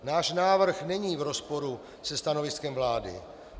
Náš návrh není v rozporu se stanoviskem vlády.